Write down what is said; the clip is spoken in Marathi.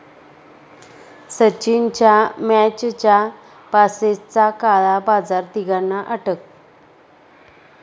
सचिनच्या मॅचच्या पासेसचा काळा बाजार, तिघांना अटक